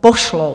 pošlou.